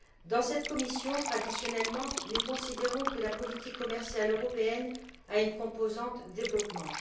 Dans cette commission, traditionnellement, nous considérons que la politique commerciale européenne a une composante développement.